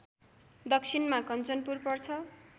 दक्षिणमा कन्चनपुर पर्छ